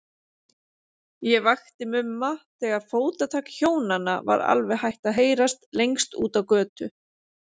Ég vakti Mumma þegar fótatak Hjónanna var alveg hætt að heyrast lengst úti á götu.